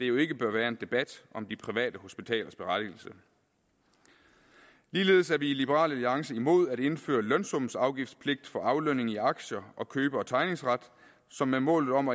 jo ikke bør være en debat om de private hospitalers berettigelse ligeledes er vi i liberal alliance imod at indføre lønsumsafgiftspligt for aflønning i aktier og købe og tegningsret som med målet om